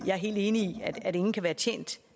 helt enig i at ingen kan være tjent